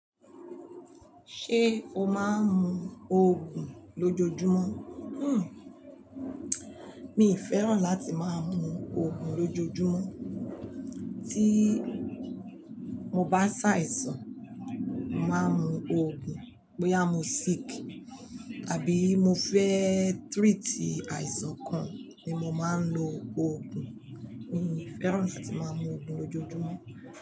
Ṣé o máa ń mu òògùn lójoojúmọ́? Hmmm. Mi fẹ́ràn láti máa mu òògùn lójoojúmọ́. Tíi mo bá ṣàìsàn, mo màá n mu òògùn. Bóyá mo sick àbí mo fẹ́ treat àìsàn kan ni mo máa ń lo òògùn. Mi fẹ́ràn láti máa mu òògùn lójoojúmọ́.